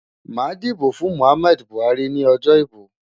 Màá dìbò fún Muhammad Buhari ní ọjọ́ ìbò.